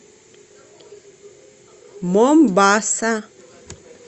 момбаса